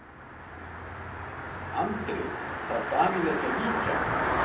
Andri: Þarf Davíð ekki að víkja?